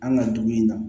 An ka dugu in na